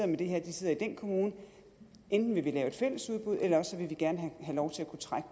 med det her sidder i den kommune enten vil vi lave et fælles udbud eller også vil vi gerne have lov til at kunne trække